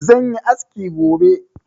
zan yi aski gobe